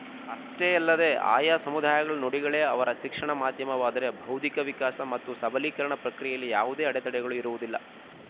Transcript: ಅಷ್ಟೇ ಯಲ್ಲದೆ ಆಯಾ ಸಮುದಾಯಗಳ ನುಡಿಗಳೇ ಅವರ ಶಿಕ್ಷಣ ಮಾಧ್ಯಮವಾದರೆ ಬೌದ್ಧಿಕ ವಿಕಾಸ ಮತ್ತು ಸಬಲೀಕರಣ ಪ್ರಕ್ರಿಯೆಯಲ್ಲಿ ಯಾವುದೇ ಅಡತಡೆಗಳು ಇರುವುದಿಲ್ಲ